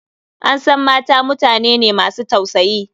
An san mata mutane ne masu tausayi.